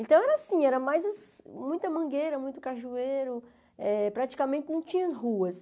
Então, era assim, era mais muita mangueira, muito cajueiro, eh praticamente não tinha ruas.